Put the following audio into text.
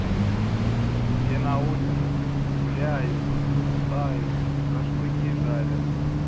все на улице гуляют бухают шашлыки жарят